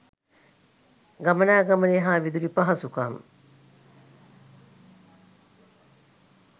ගමනාගමනය හා විදුලි පහසුකම්